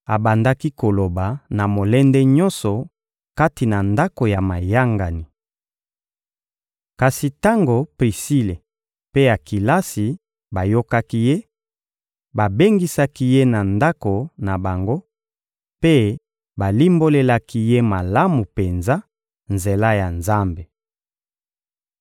Abandaki koloba na molende nyonso kati na ndako ya mayangani. Kasi tango Prisile mpe Akilasi bayokaki ye, babengisaki ye na ndako na bango mpe balimbolelaki ye malamu penza nzela ya Nzambe.